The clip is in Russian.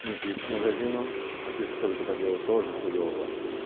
не пишешь магазину а пишешь только по делу тоже хуёво